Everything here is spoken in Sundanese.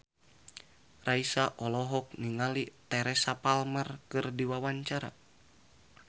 Raisa olohok ningali Teresa Palmer keur diwawancara